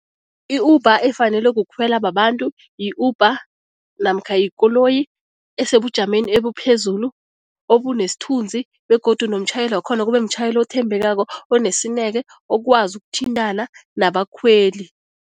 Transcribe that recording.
I-Uber efanele kukhwela babantu yi-Uber namkha yikoloyi esebujameni ebuphezulu, obunesithunzi begodu nomtjhayeli wakhona kube mtjhayeli othembekako, onesineke, okwazi ukuthintana nabakhweli.